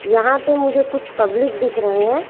यहां पे मुझे कुछ पब्लिक दिख रहे हैं।